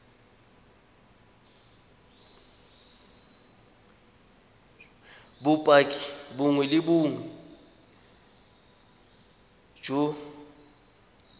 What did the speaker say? bopaki bongwe le bongwe jo